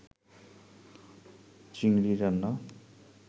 চিংড়ি রান্না